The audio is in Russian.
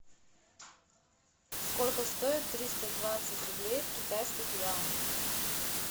сколько стоит триста двадцать рублей в китайских юанях